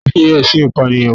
Ta ni wọ́n fi ẹ̀sùn Ìpànìyàn kàn?